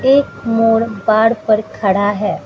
एक मोर बार पर खड़ा है।